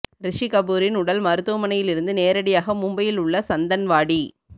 ரிஷி கபூரின் உடல் மருத்துவமனையில் இருந்து நேரடியாக மும்பையில் உள்ள சந்தன்வாடி